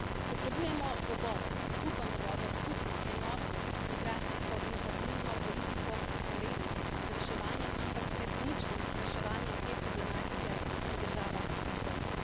Potrebujemo dogovor, skupen dogovor, skupno enotno migracijsko in azilno politiko vzporedno z reševanjem, ampak resničnim reševanjem, te problematike v državah izvora.